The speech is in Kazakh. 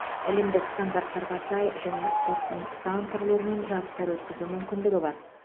әлемдік стандарттарға сай және спорттың сан түрлерінен жарыстар өткізу мүмкіндігі бар